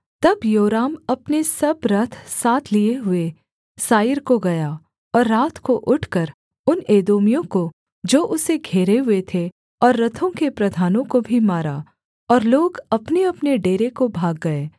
तब योराम अपने सब रथ साथ लिये हुए साईर को गया और रात को उठकर उन एदोमियों को जो उसे घेरे हुए थे और रथों के प्रधानों को भी मारा और लोग अपनेअपने डेरे को भाग गए